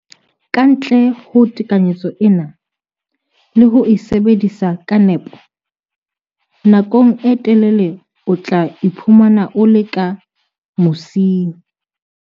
Ka ntle ho tekanyetso ena le ho e sebedisa ka nepo, nakong e telele o tla iphumana o le ka mosing.